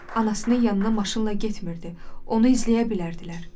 Anasının yanına maşınla getmirdi, onu izləyə bilərdilər.